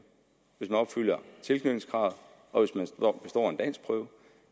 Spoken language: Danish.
hvis man opfylder tilknytningskravet og